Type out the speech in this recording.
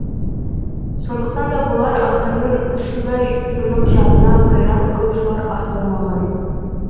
сондықтан да болар ақынның судай тұнық жадына қайран қалушылар аз болмаған